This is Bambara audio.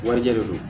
Warijɛ de don